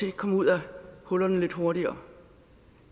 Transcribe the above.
ikke kom ud af hullerne lidt hurtigere